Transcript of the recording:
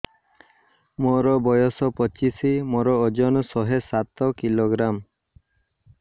ମୋର ବୟସ ପଚିଶି ମୋର ଓଜନ ଶହେ ସାତ କିଲୋଗ୍ରାମ